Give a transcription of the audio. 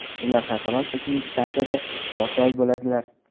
Ular Xalqaro kosmik stansiyada olti oy bo‘ladilar.